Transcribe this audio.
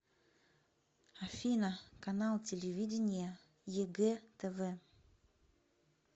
афина канал телевидения егэ тв